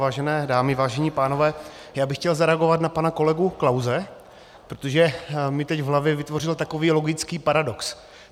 Vážené dámy, vážení pánové, já bych chtěl zareagovat na pana kolegu Klause, protože mi teď v hlavě vytvořil takový logický paradox.